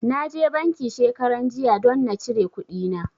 Na je banki shekaranjiya don na cire kuɗina.